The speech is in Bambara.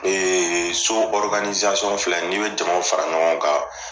Ee so filɛ n'i be jamaw fara ɲɔgɔn kan